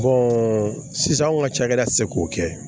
sisan anw ka cakɛda ti se k'o kɛ